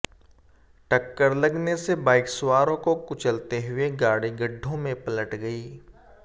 टक्कर लगने से बाइक सवारों को कुचलते हुए गाडी गढ्ढों में पलट गई